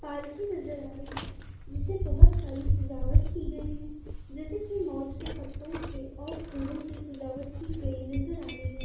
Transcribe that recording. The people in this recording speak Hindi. पालकी नजर आ रही है। जिसे बहुत सारी सजावट की गई है। जैसे कि मौज के पत्तों से और फूलों से सजावट की गई नजर आ रही है।